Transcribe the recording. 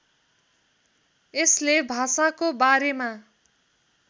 यसले भाषाको बारेमा